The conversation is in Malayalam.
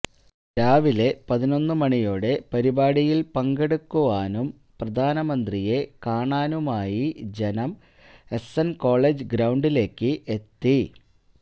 രാവിലെ പതിനൊന്ന് മണിയോടെ പരിപാടിയില് പങ്കെടുക്കുവാനും പ്രധാനമന്ത്രിയെ കാണാനുമായി ജനം എസ്എന് കോളേജ് ഗ്രൌണ്ടിലേക്ക് എത്തി